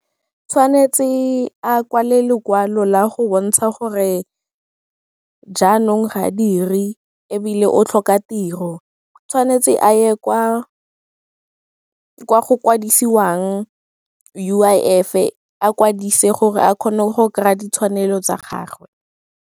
Tshwanetse a kwale lekwalo la go bontsha gore jaanong ga dire ebile o tlhoka tiro, tshwanetse a ye kwa go kwadisiwang U_I_F-e, a kwadise gore a kgone go kry-a ditshwanelo tsa gagwe.